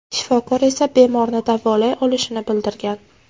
Shifokor esa bemorni davolay olishini bildirgan.